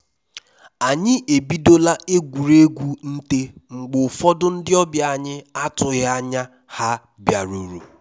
anyi ebidola egwuruegwu nte mgbe ụfọdụ ndị ọbịa anyị atụghị anya ha bịaruru